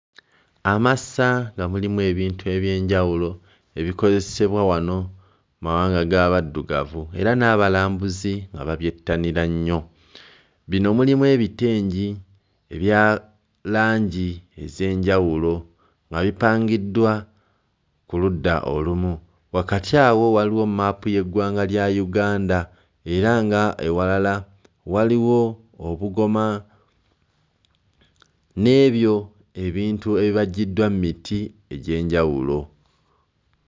Amasa nga mulimu ebintu eby'enjawulo ebikozesebwa wano mmawanga g'abaddugavu era n'abalambuzi nga babyettanira nnyo, bino mulimu; ebitengi ebya langi ez'enjawulo nga bipangiddwa ku ludda olumu. Wakati awo waliwo mmaapu y'eggwanga lya Uganda era nga ewalala waliwo obugoma n'ebyo ebintu ebibajjiddwa mmiti egy'enjawulo.